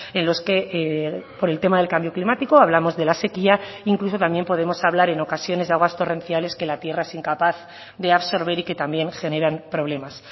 en los que por el tema del cambio climático hablamos de la sequía incluso también podemos hablar en ocasiones de aguas torrenciales que la tierra es incapaz de absorber y que también generan problemas